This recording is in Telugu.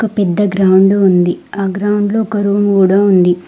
పెద్ద గ్రౌండ్ ఉంది ఆ గ్రౌండ్లో ఒక రూమ్ కూడా ఉంది.